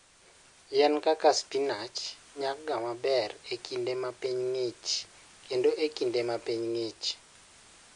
Yien kaka spinach nyaga maber e kinde ma piny ng'ich kendo e kinde ma piny ng'ich.